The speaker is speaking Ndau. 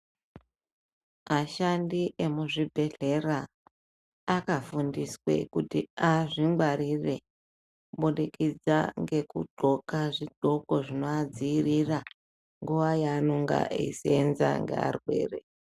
Ashandi muzvichibhehleya akafundiswa kuti azvi gwarire kubudikidza ngeku gxoka zvindxoko zvinoa dzivirira nguva yaanenge eyisevenza ne arwere.